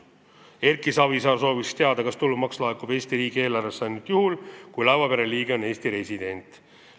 Erki Savisaar soovis teada, kas tulumaks laekub Eesti riigi eelarvesse ainult juhul, kui laevapere liige on Eesti resident.